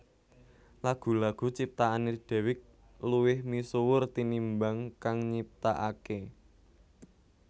Lagu lagu ciptaané Dewiq luwih misuwur tinimbang kang nyiptakaké